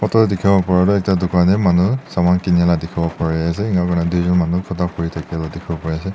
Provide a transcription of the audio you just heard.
dekhi bo pari toh ekta dukan tey manu saman keni la dekhibo pari ase ena koina doijun manu kotha kuri la dekhi bo pari ase.